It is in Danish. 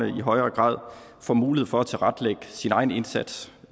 i højere grad får mulighed for at tilrettelægge sin egen indsats